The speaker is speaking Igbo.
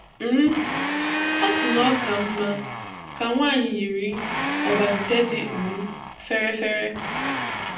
um Ọ sị na ọ ka mma ka nwanyị yiri ọbànte dị um fèrè fèrè.